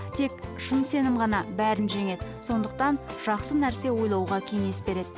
тек шын сенім ғана бәрін жеңеді сондықтан жақсы нәрсе ойлауға кеңес береді